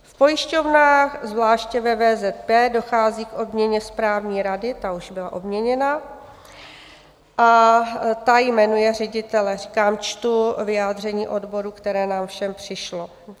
V pojišťovnách, zvláště ve VZP, dochází ke změně správní rady" - ta už byla obměněna - "a ta jmenuje ředitele." Říkám, čtu vyjádření odborů, které nám všem přišlo.